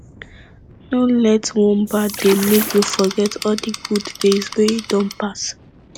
no let one bad day make you forget all di good days wey don pass